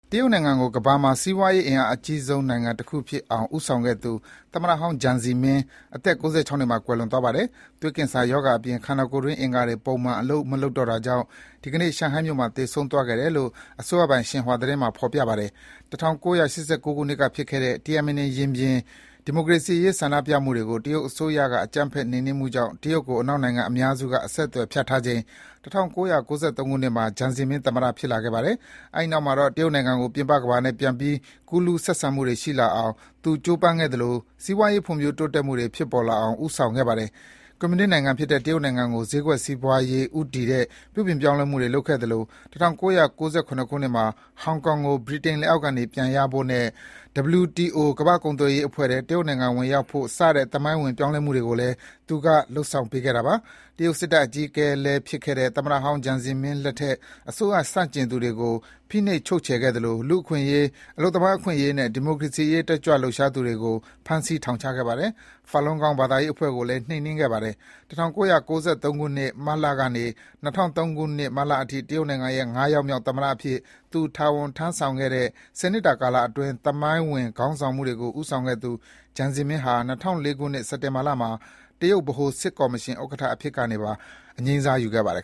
တရုတ်နိုင်ငံကို ကမ္ဘာမှာ စီးပွားရေးအင်အားကြီးနိုင်ငံတခုဖြစ်အောင်ဦးဆောင်ခဲ့သူ သမ္မတဟောင်း Jiang Zemin အသက် ၉၆ နှစ်မှာ ကွယ်လွန်သွားပါတယ်။ သွေးကင်ဆာရောဂါအပြင် ခန္ဒာကိုယ်တွင်းအင်္ဂါတွေ ပုံမှန်အလုပ်မလုပ်တော့တာကြောင့် ဒီကနေ့ ရှန်ဟိုင်းမြို့မှာသေဆုံးခဲ့တယ်လို့ ရှင်ဟွာသတင်းမှာ ဖော်ပြပါတယ်။ ၁၉၈၉ ခုနှစ်ကဖြစ်ခဲ့တဲ့ Tiananmen ရင်ပြင် ဒီမိုကရေစီရေးဆန္ဒပြမှုတွေကို တရုတ်အစိုးရက အကြမ်းဖက်နှိမ်နှင်းမှုကြောင့် တရုတ်ကို အနောက်နိုင်ငံအများစု အဆက်အသွယ်ဖြတ်ထားချိန် ၁၉၉၃ ခုနှစ်မှာ Jiang Zemin သမ္မတဖြစ်လာခဲ့ပါတယ်။ အဲဒီနောက်မှာတော့ တရုတ်နိုင်ငံကို ပြင်ပကမ္ဘာနဲ့ ပြန်ပြီး ကူးလူးဆက်ဆံမှုတွေရှိလာအောင် သူကြိုးပမ်းခဲ့သလို စီးပွါးရေး ဖွံ့ဖြိုး တိုးတက်မှုတွေ ဖြစ်ပေါ်လာအောင် ဦးဆောင်ခဲ့ပါတယ်။ ကွန်မြူနစ်နိုင်ငံဖြစ်တဲ့ တရုတ်နိုင်ငံကို ဈေးကွက်စီးပွားရေးဦးတည်တဲ့ ပြုပြင်ပြောင်းလဲမှုတွေလုပ်ခဲ့သလို ၁၉၉၇ ခုနှစ်မှာ ဟောင်ကောင်ကို ဗြိတိန်လက်အောက်ကနေပြန်ရဖို့နဲ့ WTO ကမ္ဘာ့ကုန်သွယ်ရေးအဖွဲ့ထဲ တရုတ်နိုင်ငံဝင်ရောက်နိုင်ဖို့ စတဲ့ သမိုင်းဝင်ပြောင်းလဲမှုတွေကိုလည်း သူက လုပ်ဆောင်ပေးခဲ့တာပါ။ တရုတ်စစ်တပ် အကြီးအကဲလည်းဖြစ်ခဲ့တဲ့ သမ္မတဟောင်း Jiang Zemin လက်ထက် အစိုးရဆန့်ကျင်သူတွေကို ဖိနှိပ်ချုပ်ချယ်ခဲ့သလို လူ့အခွင့်အရေး၊ အလုပ်သမားအခွင့်အရေးနဲ့ ဒီမိုကရေစီရေးတက်ကြွလှုပ်ရှားသူတွေကို ဖမ်းဆီးထောင်ချခဲ့ပါတယ်။ Falun Gong ဘာသာရေးအဖွဲ့ကိုလည်း နှိမ်နှင်းခဲ့ပါတယ်။ ၁၉၉၃ ခုနှစ်၊ မတ်လကနေ ၂၀၀၃ ခုနှစ် မတ်လအထိ တရုတ်နိုင်ငံရဲ့ ၅ ယောက်မြောက် သမ္မတအဖြစ် သူ တာဝန်ထမ်းဆောင်ခဲ့တဲ့ ၁၀ နှစ်တာကာလအတွင်း သမိုင်းဝင် ခေါင်းဆောင်မှုတွေကို ဦးဆောင်ခဲ့သူ Jiang Zemin ဟာ ၂၀၀၄ ခုနှစ် စက်တင်ဘာလမှာ တရုတ်ဗဟိုစစ်ကော်မရှင်ဥက္ကဋ္ဌအဖြစ်ကနေပါ အငြိမ်းစားယူခဲ့ပါတယ်